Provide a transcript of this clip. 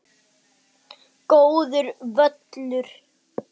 Góður völlur.